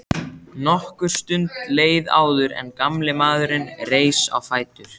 Nokkur stund leið áður en gamli maðurinn reis á fætur.